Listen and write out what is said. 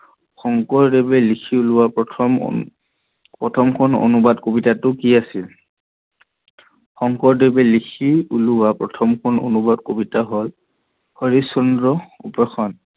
শংকৰদেৱে লিখি উলিওৱা প্ৰথম~প্ৰথমখন অনুবাদ কবিতাটো কি আছিল? শংকৰদেৱে লিখি উলিওৱা প্ৰথমখন অনুবাদ কবিতাটো হল হৰিচৰন উপশৰন